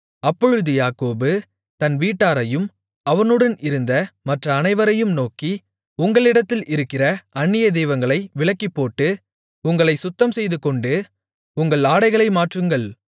அப்பொழுது யாக்கோபு தன் வீட்டாரையும் அவனுடன் இருந்த மற்ற அனைவரையும் நோக்கி உங்களிடத்தில் இருக்கிற அந்நிய தெய்வங்களை விலக்கிப்போட்டு உங்களைச் சுத்தம்செய்துகொண்டு உங்கள் ஆடைகளை மாற்றுங்கள்